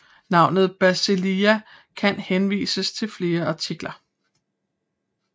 Navnet Basileia kan henvise til flere artikler